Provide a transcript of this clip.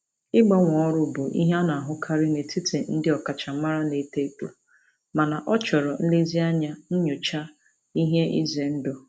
Ịgbanwe ọrụ bụ ihe a na-ahụkarị n'etiti ndị ọkachamara na-eto eto mana ọ chọrọ nlezianya nyochaa ihe ize ndụ.